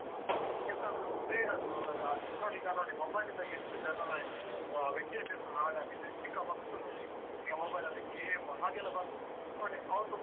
ಎಂತಾದ್ರೂ ಬೇಡದ್ದು ಎಲ್ಲ ನೋಡಿ ಈಗ ನೋಡಿ mobile ಯಿಂದಾಗಿ ಎಷ್ಟ್ ಜನರದ್ದು ಅಹ್ ವಿದ್ಯಾಭ್ಯಾಸ ಹಾಳಾಗಿದೆ. ಚಿಕ್ಕ ಮಕ್ಕಳ್ ನೋಡಿ ಈಗ ಈಗ mobile ಲಲ್ಲಿ game ಹಾಗೆಲ್ಲಾ ಬಂದು ನೋಡಿ ಅವ್ರದ್ದು